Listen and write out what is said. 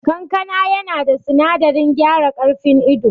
Kankana yana da sinadarin gyara karfin ido